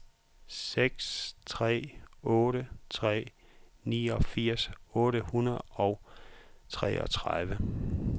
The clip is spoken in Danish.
seks tre otte tre niogfirs otte hundrede og treogtredive